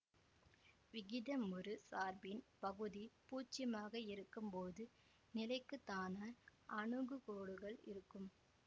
விகிதமுறு சார்பின் பகுதி பூச்சியமாக இருக்கும்போது நிலைக்குத்தான அணுகுகோடுகள் இருக்கும்